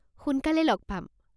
সোনকালে লগ পাম!